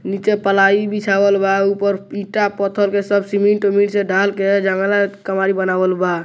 नीचे पलाई बिछावल बा ऊपर ईटा पत्थर के सब सीमेंट उमेंट से ढाल के जंगला कावड़ी बनावल बा।